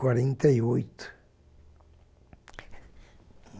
Quarenta e oito.